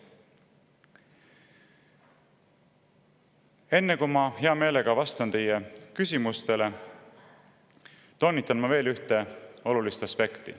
Enne kui ma hea meelega vastan teie küsimustele, toonitan veel üht olulist aspekti.